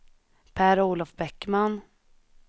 Per-Olof Bäckman